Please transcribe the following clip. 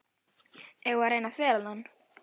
Eigum við að reyna að fela hann?